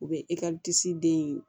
U bɛ den in